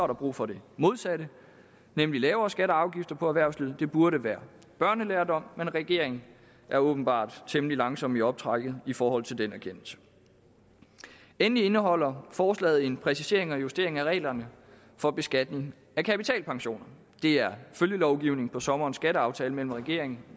der brug for det modsatte nemlig lavere skatter og afgifter for erhvervslivet det burde være børnelærdom men regeringen er åbenbart temmelig langsom i optrækket i forhold til den erkendelse endelig indeholder forslaget en præcisering og justering af reglerne for beskatning af kapitalpensioner det er følgelovgivning fra sommerens skatteaftale mellem regeringen